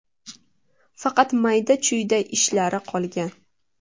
Faqat mayda-chuyda ishlari qolgan.